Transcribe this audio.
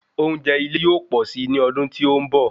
Oúnjẹ ile yóò pọ́sì ni ọdún tí ó ń bọ